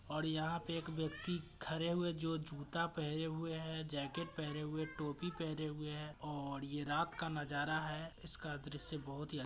और यहाँ पे एक व्यक्ति खड़े हुए जो जूता पहने हुए है जो जैकेट पहने हुए है टोपी पहने हुए है और ये रात का नजारा है। इसका दृश बहुत ही--